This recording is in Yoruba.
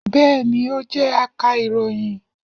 bẹẹni, o jẹ a irohin